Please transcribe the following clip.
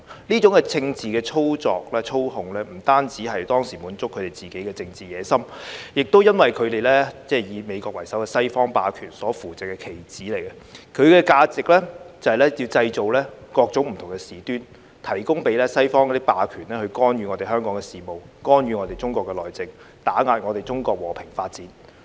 這種政治操作、操控，不單是當時滿足他們自己的政治野心，亦因為他們是以美國為首的西方霸權所扶植的棋子，其價值就是要製造各種不同的事端，提供機會給西方霸權去干預我們香港的事務、干預我們中國的內政、打壓我們中國和平發展。